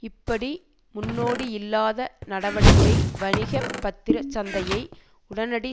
இப்படி முன்னோடியில்லாத நடவடிக்கை வணிக பத்திர சந்தையை உடனடி